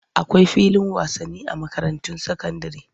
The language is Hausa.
Akwai filin wasani a makarantun sakandire.